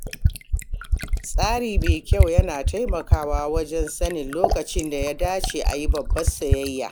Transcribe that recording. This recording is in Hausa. tsari mai kyau yana taimakawa wajen sanin lokacin da ya dace a yi babbar sayayya.